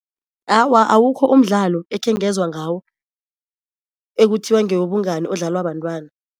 Awa, awukho umdlalo ekhengezwa ngawo ekuthiwa ngewobungani odlalwa bantwana.